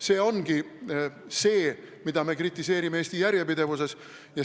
See ongi see, mida meie kritiseerime.